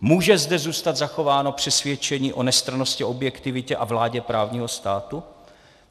Může zde zůstat zachováno přesvědčení o nestrannosti, objektivitě a vládě právního státu?